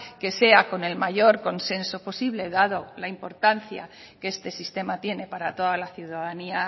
que sea con el mayor consenso posible dado la importancia que este sistema tiene para toda la ciudadanía